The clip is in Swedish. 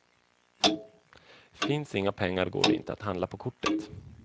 Finns inga pengar går det inte att handla på kortet.